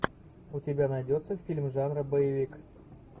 у тебя найдется фильм жанра боевик